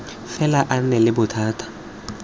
fela a nna le bothata